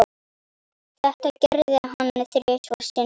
Þetta gerði hann þrisvar sinnum.